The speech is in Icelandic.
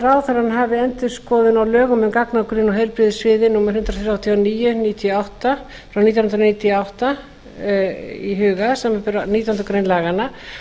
ráðherrann hafi endurskoðun á lögum um gagnagrunn á heilbrigðissviði númer hundrað þrjátíu og níu nítján hundruð níutíu og átta í huga samanber nítjánda grein laganna